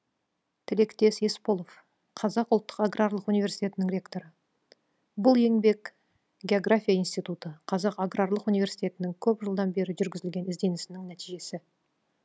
тілектес есполов қазақ ұлттық аграрлық университетінің ректоры бұл еңбек география институты қазақ аграрлық университетінің көп жылдан бері жүргізілген ізденісінің нәтижесі